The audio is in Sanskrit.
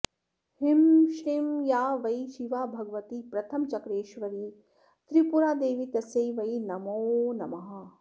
ह्रीं श्रीं या वै शिवा भगवती प्रथमचक्रेश्वरी त्रिपुरा देवी तस्यै वै नमो नमः